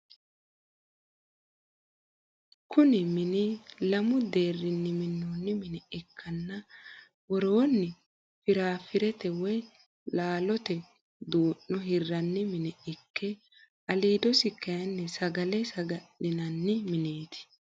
Kuni mini lamu deerinni minonni mine ikkanna woronni firafirete woyi laallotte duu'no hiranni mine ikke alidosii kayinni sagale sagalinanbi mineeti